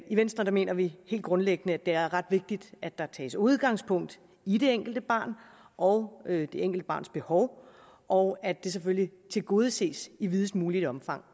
i venstre mener vi helt grundlæggende at det er ret vigtigt at der tages udgangspunkt i det enkelte barn og det enkelte barns behov og at det selvfølgelig tilgodeses i videst muligt omfang